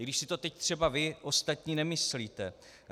I když si to teď třeba vy ostatní nemyslíte.